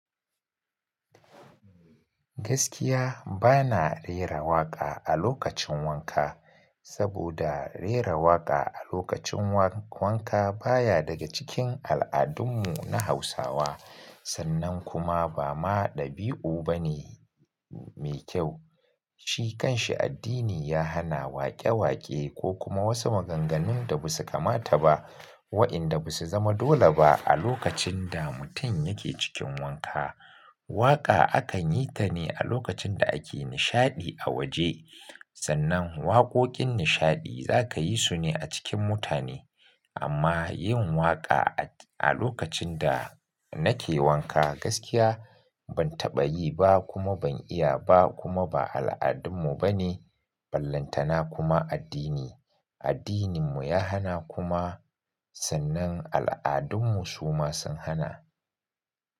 Gaskiya bana rera waƙa a lokacin wanka, saboda rera waƙa a lokacin wa-wanka baya daga cikin al'adunmu na Hausawa. Sannan kuma ba ma ɗabi'u bane me kyau. Shi kan shi addini ya hana waƙe-waƙe ko kuma wasu maganganun da basu kamata ba wa'inda basu zama dole ba a lokacin da mutum yake cikin wanka. Waƙa akan yi ta ne a lokacin da ake nishaɗi a waje. Sannan waƙoƙin nishaɗi za ka yi su ne a cikin mutane. Amma yin waƙa a lokacin da nake wanka gaskiya ban taɓa yi ba kuma ban iya ba kuma ba al'adunmu bane. Ballantana kuma addini, addininmu ya hana kuma sannan al'adunmu su ma sun hana.